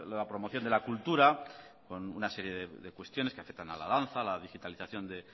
la promoción de la cultura con una serie de cuestiones que afectan a la danza a la digitalización de